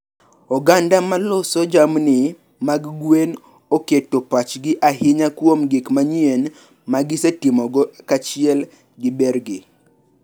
Oganda ma loso jamni mag gwen oketo pachgi ahinya kuom gik manyien ma gisetimogo kaachiel gi bergi.